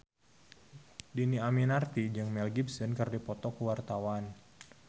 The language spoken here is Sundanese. Dhini Aminarti jeung Mel Gibson keur dipoto ku wartawan